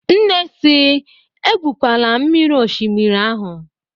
Nne si "Egwukwala mmiri n'oshimiri ahụ"